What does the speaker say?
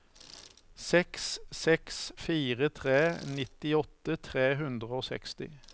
seks seks fire tre nittiåtte tre hundre og seksti